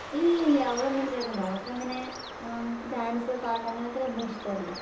ഇല്ലില്ല അവളൊന്നും ചേർന്നില്ല അവൾക്കങ്ങിനെ എഹ് ഡാൻസ് പാട്ട് അങ്ങിനത്തെനൊന്നും ഇഷ്ടല്ല